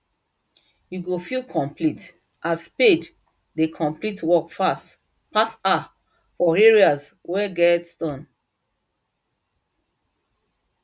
you go feel complete as spade dey complete work fast pass her for areas wen get stone